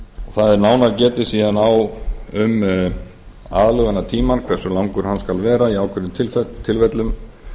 það er nánar getið svo um aðlögunartímann hversu langur hann skal vera í ákveðnum tilfellum